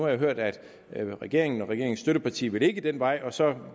jeg hørt at regeringen og regeringens støtteparti ikke vil den vej og så